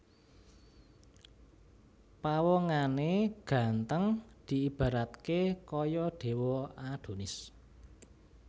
Pawongané ganteng diibaratké kaya dewa Adonis